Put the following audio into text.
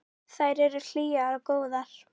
Þær eru hlýjar og góðar.